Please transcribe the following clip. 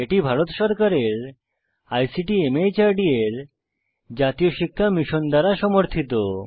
এটি ভারত সরকারের আইসিটি মাহর্দ এর জাতীয় শিক্ষা মিশন দ্বারা সমর্থিত